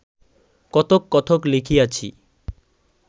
কতক কতক লিখিয়াছি